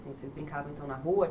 Vocês brincavam na rua?